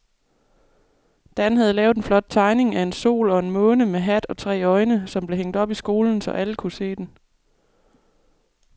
Dan havde lavet en flot tegning af en sol og en måne med hat og tre øjne, som blev hængt op i skolen, så alle kunne se den.